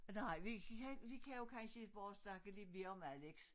Nej vi kan vi kan jo kansje bare snakke lidt mere om Alex